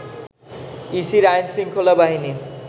ইসির আইনশৃঙ্খলা বাহিনী